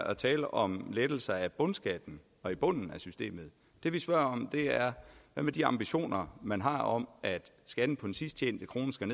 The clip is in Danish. at tale om lettelser af bundskatten og i bunden af systemet det vi spørger om er de ambitioner man har om at skatten på den sidst tjente krone skal